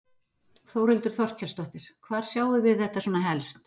Þórhildur Þorkelsdóttir: Hvar sjáið þið þetta svona helst?